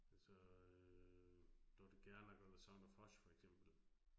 Altså øh Dorthe Gerlach og the Son of Hush for eksempel